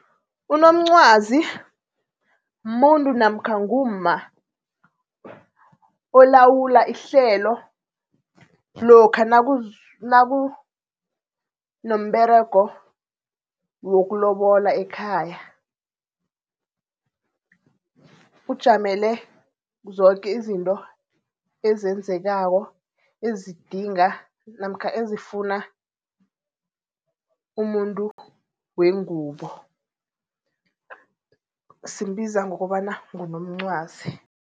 Unomncwazi muntu namkha ngumma olawula ihlelo, lokha nakunomberego wokulobola ekhaya. Ujamele zoke izinto ezenzekako, ezidinga namkha ezifuna umuntu wengubo, simbiza ngokobana ngunomncwazi.